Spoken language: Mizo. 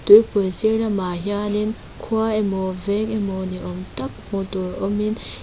tuipui sir lamah hian in khua emaw veng emaw ni awm tak hmu tur awm in--